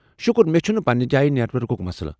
شُکر، مےٚ چُھنہٕ پننہِ جایہ نیٹ ورکُك مسلہٕ۔